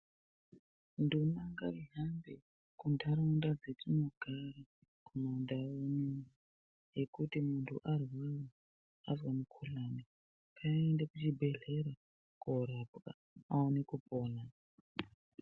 Nduma ngaihambe kuntaraunda dzatinogara kumandau unono ngekuti muntu arwara azwa mukhuhlani ngaaende kuchibhedhlera korapwa aone kupona.